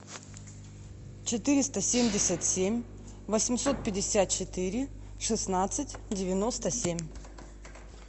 четыреста семьдесят семь восемьсот пятьдесят четыре шестнадцать девяносто семь